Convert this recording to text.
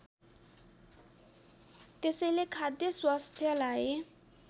त्यसैले खाद्य स्वास्थ्यलाई